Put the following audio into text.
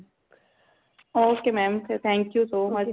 ok mam ਫੇਰ thank you so much